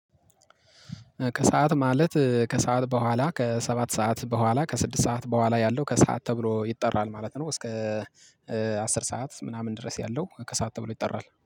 ከሰአት ማለት ከሰአት በኋላ ከሰባት ሰዓት በኋላ ከስድስት ሰዓት በኋላ ያለው ከሰአት ተብሎ ይጠራል ማለት ነው። እስከ አስር ሰዓት ምናምን ድረስ ያለው ከሰአት ተብሎ ይጠራል